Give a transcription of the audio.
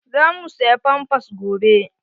Za mu saya pampas gobe.